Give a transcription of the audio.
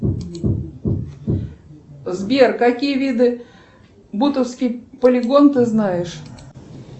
сбер какие виды бутовский полигон ты знаешь